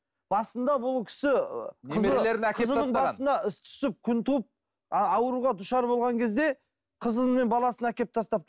басында бұл кісі немерелерін әкеліп тастаған басына іс түсіп күн туып ауруға душар болған кезде қызы мен баласын әкеліп тастапты